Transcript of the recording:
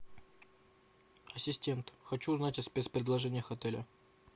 ассистент хочу узнать о спец предложениях отеля